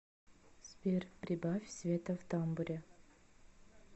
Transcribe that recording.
сбер прибавь света в тамбуре